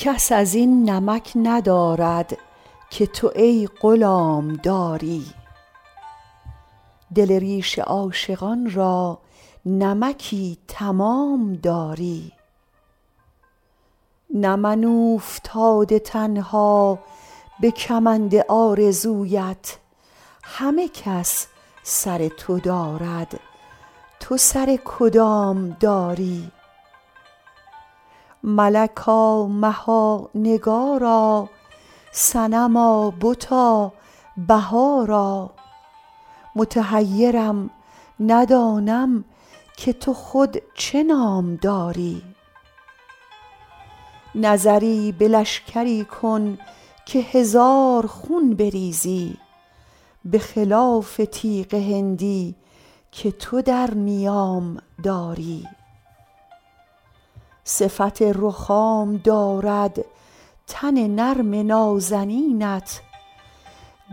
کس از این نمک ندارد که تو ای غلام داری دل ریش عاشقان را نمکی تمام داری نه من اوفتاده تنها به کمند آرزویت همه کس سر تو دارد تو سر کدام داری ملکا مها نگارا صنما بتا بهارا متحیرم ندانم که تو خود چه نام داری نظری به لشکری کن که هزار خون بریزی به خلاف تیغ هندی که تو در نیام داری صفت رخام دارد تن نرم نازنینت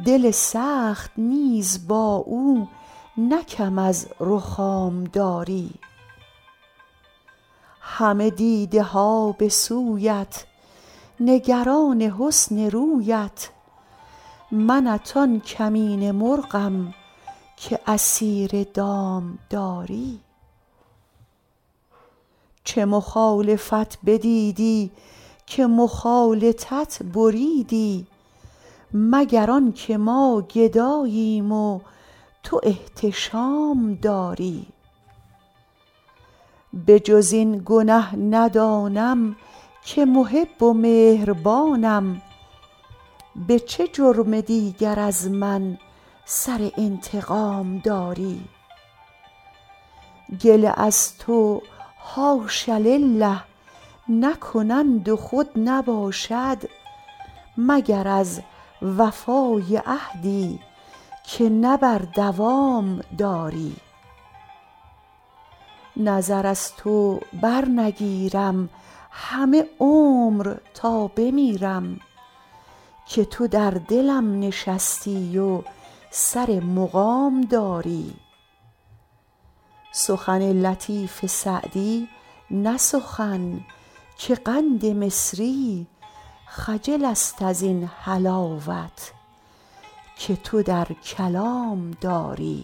دل سخت نیز با او نه کم از رخام داری همه دیده ها به سویت نگران حسن رویت منت آن کمینه مرغم که اسیر دام داری چه مخالفت بدیدی که مخالطت بریدی مگر آن که ما گداییم و تو احتشام داری به جز این گنه ندانم که محب و مهربانم به چه جرم دیگر از من سر انتقام داری گله از تو حاش لله نکنند و خود نباشد مگر از وفای عهدی که نه بر دوام داری نظر از تو برنگیرم همه عمر تا بمیرم که تو در دلم نشستی و سر مقام داری سخن لطیف سعدی نه سخن که قند مصری خجل است از این حلاوت که تو در کلام داری